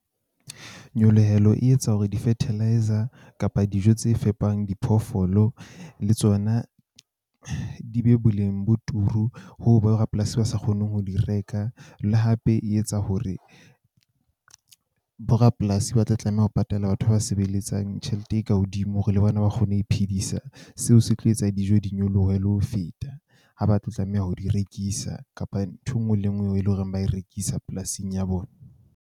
Nyolohelo e etsa hore di-fertiliser kapa dijo tse fepang diphoofolo le tsona di be boleng bo turu ho bo rapolasi ba sa kgoneng ho di reka. Le hape e etsa hore borapolasi ba tla tlameha ho patala batho ba sebeletsang tjhelete e ka hodimo hore le bona ba kgone ho iphedisa. Seo se tlo etsa dijo di nyolohe le ho feta ha ba tlo tlameha ho di rekisa kapa ntho e nngwe le e nngwe eo eleng hore ba e rekisa polasing ya bona.